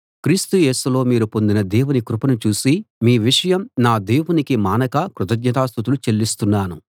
క్రీస్తు యేసులో మీరు పొందిన దేవుని కృపను చూసి మీ విషయం నా దేవునికి మానక కృతజ్ఞతాస్తుతులు చెల్లిస్తున్నాను